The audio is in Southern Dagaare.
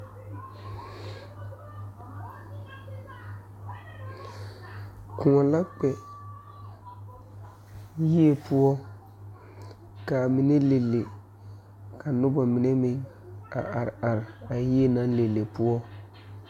Sããmo la sãã ka kõɔ gaŋ ka kyɛnserre yagre ka dɔbɔ ne pɔɔbɔ are ka dɔɔ be kõɔŋ ka pɔɔ meŋ be a kõɔŋ ka poole ba ka teere a are.